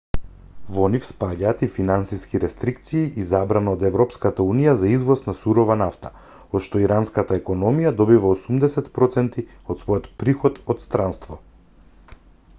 во нив спаѓаат и финансиски рестрикции и забрана од европската унија за извоз на сурова нафта од што иранската економија добива 80 % од својот приход од странство